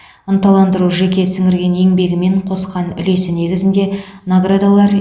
ынталандыру жеке сіңірген еңбегі мен қосқан үлесі негізінде наградалар